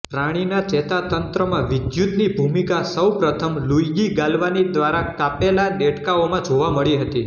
પ્રાણીના ચેતાતંત્રમાં વિદ્યુતની ભૂમિકા સૌ પ્રથમ લુઇગી ગાલ્વાની દ્વારા કાપેલા દેડકાઓમાં જોવા મળી હતી